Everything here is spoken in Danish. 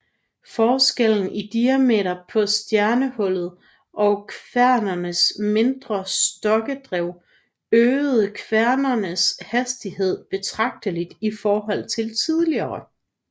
Forskellen i diameter på stjernehjulet og kværnenes mindre stokkedrev øgede kværnenes hastighed betragteligt i forhold til tidligere